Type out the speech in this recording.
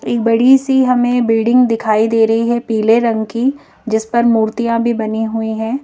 एक बड़ी सी हमें बिल्डिंग दिखाई दे रही है पीले रंग की जिस पर मूर्तियां भी बनी हुई हैं।